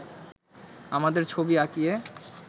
আমাদের ছবি আঁকিয়ে